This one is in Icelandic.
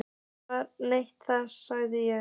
Það er nefnilega það, sagði ég.